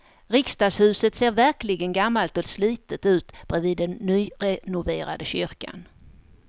Riksdagshuset ser verkligen gammalt och slitet ut bredvid den nyrenoverade kyrkan.